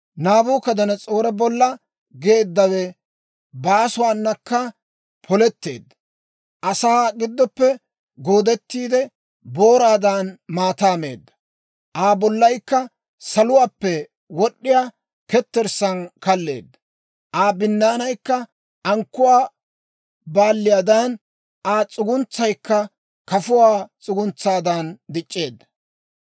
Naabukadanas'oore bolla geeddawe baasuwaanakka poletteedda. Asaa giddoppe goodettiide, booraadan maataa meedda. Aa bollaykka saluwaappe wod'd'iyaa ketterssaan kalleedda. Aa binnaanay ankkuwaa baalliyaadan, Aa s'uguntsaykka kafuwaa s'uguntsaadan dic'c'eedda.